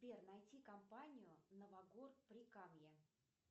сбер найти компанию новогор прикамье